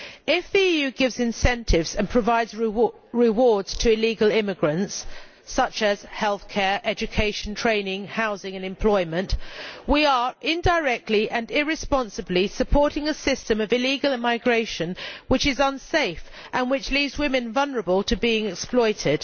If the EU gives incentives and provides rewards to illegal immigrants, such as healthcare, education, training, housing and employment, we are indirectly and irresponsibly supporting a system of illegal immigration which is unsafe and which leaves women vulnerable to being exploited.